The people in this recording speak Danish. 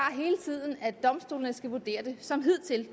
at domstolene skal vurdere det som de hidtil